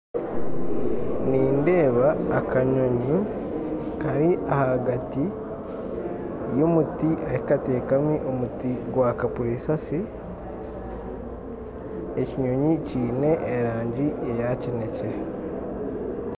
Nindeeba akanyonyi kari ahagati y'omuti ahikatekamu omuti gwa kapurisasi ekinyonyi kiine erangi eya kinekye